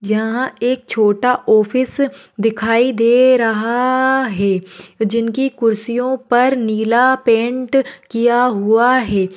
यहा एक छोटा ऑफिस दिखाई दे रहा है। जिनकी कूर्सीयोपर नीला पेंट किया हुआ है।